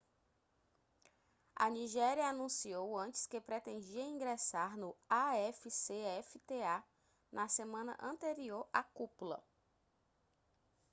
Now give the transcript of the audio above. a nigéria anunciou antes que pretendia ingressar no afcfta na semana anterior à cúpula